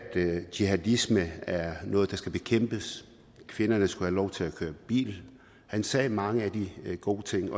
jihadisme er noget der skal bekæmpes kvinderne skulle have lov til at køre bil han sagde mange gode ting